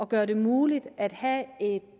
gøre det muligt at have